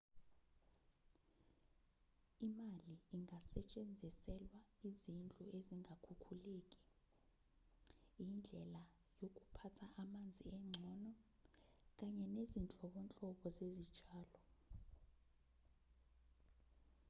imali ingasetshenziselwa izidlu ezingakhukhuleki indlela yokuphatha amanzi engcono kanye nezinhlobonhlobo zezitshalo